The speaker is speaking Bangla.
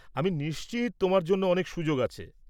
আমি নিশ্চিত তোমার জন্য অনেক সুযোগ আছে।